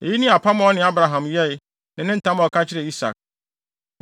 Eyi ne apam a ɔne Abraham yɛe ne ntam a ɔka kyerɛɛ Isak.